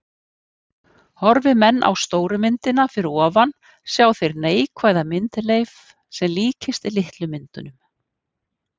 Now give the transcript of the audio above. Horfi menn á stóru myndina fyrir ofan sjá þeir neikvæða myndleif sem líkist litlu myndunum.